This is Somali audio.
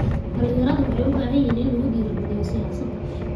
Dhalinyaradu waxay u baahan yihiin in lagu dhiirigaliyo siyaasadda.